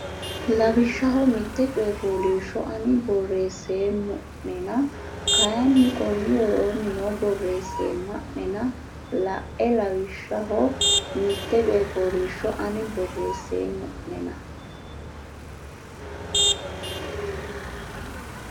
Lawishshaho mitte coy fooliishsho ani borreesseemmo nena kayinni konni woroonni noo borreessemma nena la e Lawishshaho mitte coy fooliishsho ani borreesseemmo nena.